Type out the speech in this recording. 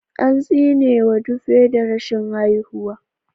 An tsinewa Dupe da rashin haihuwa.